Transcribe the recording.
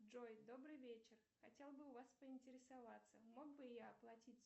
джой добрый вечер хотел бы у вас поинтересоваться мог бы я оплатить